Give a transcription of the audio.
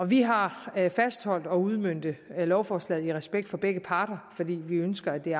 vi har fastholdt at udmønte lovforslaget i respekt for begge parter fordi vi ønsker at det